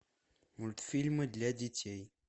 мультфильмы для детей